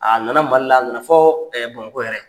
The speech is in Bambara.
A nana Mali la a na na fɔ Bamakɔ yan